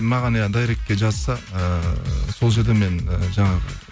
маған иә дайректке жазса ыыы сол жерде мен і жаңағы